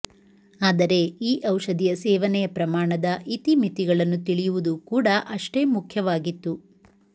ಆದರೆ ಈ ಔಷಧಿಯ ಸೇವನೆಯ ಪ್ರಮಾಣದ ಇತಿಮಿತಿಗಳನ್ನು ತಿಳಿಯುವುದು ಕೂಡ ಅಷ್ಟೇ ಮುಖ್ಯವಾಗಿತ್ತು